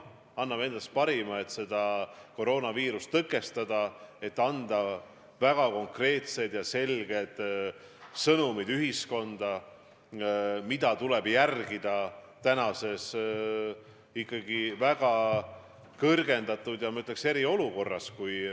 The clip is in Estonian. Ta annab endast parima, et koroonaviiruse levikut tõkestada, et anda rahvale väga konkreetsed ja selged sõnumid, mida tuleb järgida tänases ikkagi väga kõrgendatud ohuga erilises olukorras.